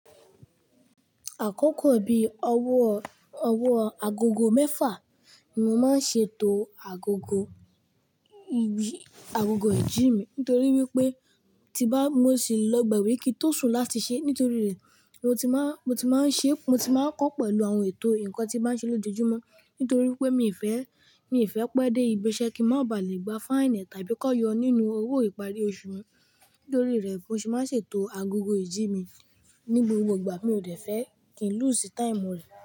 Àkókò bíi ọwọ́, ọwọ́ agogo mẹ́fà ni mo máa ń ṣètò agogo, igi, agogo ìjí mi nítorí wípé tí bá mo ṣile lọ gba gbé kí n tó sùn láti ṣe nítorí rẹ̀ mo ti máa, mo ti máa ń ṣe, mo ti máa ń kọ́ pẹ̀lú àwọn ètò nǹkan tí màá ṣe lójoojúmọ́ nítorí pé mi fẹ́, mi fẹ́ pẹ́ dé ibi iṣẹ́ kí n má bà lè gba fáínì tàbí kàn yọ nínú owó ìparí oṣù mi. Nítorí rẹ̀ mo sì máa ń ṣètò agogo ìjí mi ní gbogbo ìgbà mi ò dẹ́fẹ́ kí n lúsí táìmù rẹ̀.